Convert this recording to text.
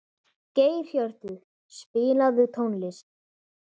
Geirhjörtur, spilaðu tónlist.